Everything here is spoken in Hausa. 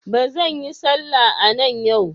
Ba zan yi sallah a nan yau.